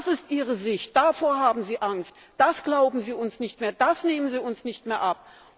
Das ist ihre Sicht, davor haben sie Angst, das glauben sie uns nicht mehr, das nehmen sie uns nicht mehr ab.